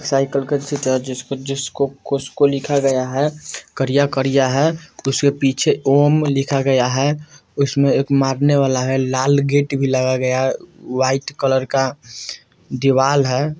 साइकल का अच्छी तरह जिसको जिसको कोसको लिखा गया है करिया-करिया है उसके पीछे ओम लिखा गया है उसमें एक मारने वाला है लाल गेट भी लगा गया व्हाइट कलर का दिवाल है।